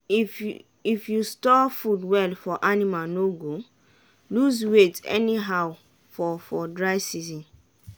if you store food well your anima no go lose weight anyhow for for dry season.